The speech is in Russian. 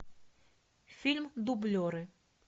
фильм дублеры